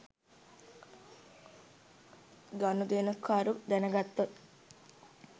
ගනුදෙනුකරු දැනගතහොත්